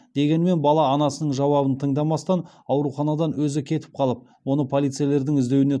дегенмен бала анасының жауабын тыңдамастан ауруханадан өзі кетіп қалып оны полицейлердің іздеуіне